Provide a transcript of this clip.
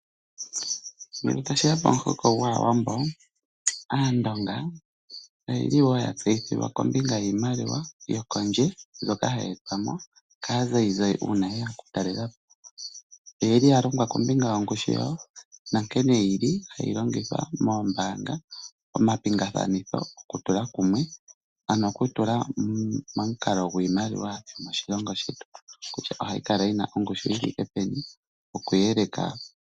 Ngele tashi ya pomuhoko gwAawambo, Aandonga oya tseyithilwa wo kombinga yiimaliwa yokondje mbyoka hayi etwa mo kaazayizayi uuna ye ya okutalela po. Oya longwa wo kombinga yongushu yawo nankene hayi longithwa moombaanga, omapingakanitho, okutula kumwe, ano okutula momukalo gwiimaliwa yomoshilongo shetu kutya ohayi kala yi na ongushu yi thike peni.